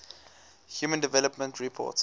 human development report